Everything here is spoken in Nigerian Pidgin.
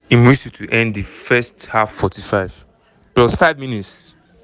im whistle to end di first half 45+5 mins-